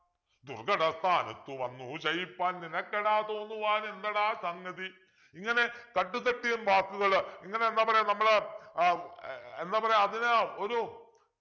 ദുർഘട സ്ഥാനത്തു വന്നു ചെയിപ്പാൻ നിനക്കെടാ തോന്നുവാൻ എന്തെടാ സംഗതി ഇങ്ങനെ തട്ട് തട്ടിയൻ വാക്കുകൾ ഇങ്ങനെ എന്താ പറയാ നമ്മള് ആഹ് ഏർ എന്താ പറയാ അതിനെ ഒരു